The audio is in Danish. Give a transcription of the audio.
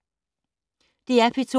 DR P2